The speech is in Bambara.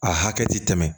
A hakɛ tɛ tɛmɛ